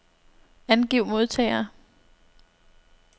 Angiv modtagere.